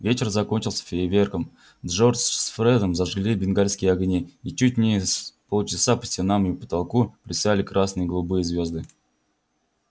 вечер закончился фейерверком джордж с фредом зажгли бенгальские огни и чуть не с полчаса по стенам и потолку плясали красные и голубые звезды